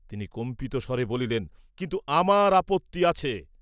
তিনি কম্পিত স্বরে বলিলেন, কিন্তু আমার আপত্তি আছে।